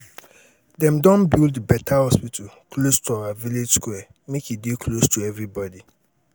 dem don build beta hospital close to our village square make e dey close to everybodi.